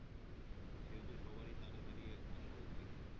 সেহেতু সবারই তাড়াতাড়ি আসা উচিত